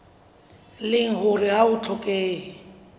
leng hore ha ho hlokehe